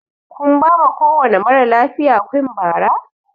Kun bama kowani maralafiya kuinn Bara?